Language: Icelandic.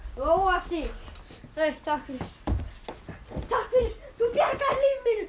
róa sig takk fyrir takk fyrir þú bjargaðir lífi mínu